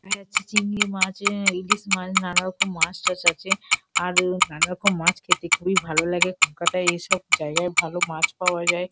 এটা হচ্ছে চিংড়ি মাছ আ ইলিশ মাছ নানারকম মাছ টাছ আছে। আর নানারকম মাছ খেতে খুবই ভালো লাগে কলকাতা য় এসব জায়গায় ভালো মাছ পাওয়া যায়।